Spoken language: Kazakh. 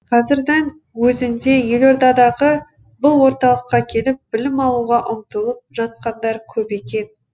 қазірдің өзінде елордадағы бұл орталыққа келіп білім алуға ұмтылып жатқандар көп екен